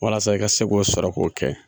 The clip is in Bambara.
Walasa i ka se k'o sɔrɔ k'o kɛ